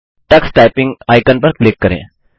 Tux typing icon पर click करें